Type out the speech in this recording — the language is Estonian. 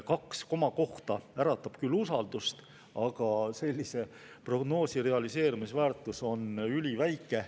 Kaks komakohta äratab küll usaldust, aga sellise prognoosi realiseerumisväärtus on üliväike.